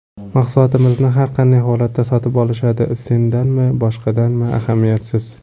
Mahsulotimizni har qanday holatda sotib olishadi, sendanmi, boshqadanmi, ahamiyatsiz”.